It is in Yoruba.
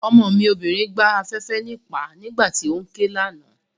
Ọmọ mi obìnrin gbá afẹ́fẹ́ níìpá nígbà tí óún ké ní àná